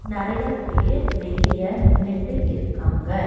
நறையா பேர் வெளிய நின்னுட்டு இருக்காங்க.